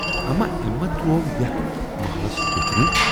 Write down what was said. اما ٲمۍ ما تروو یتَھ مٔحلَس بیچھُن۔